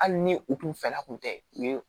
Hali ni u kun fɛla kun tɛ u ye